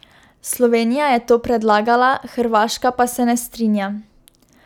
Slovenija je to predlagala, Hrvaška pa se ne strinja.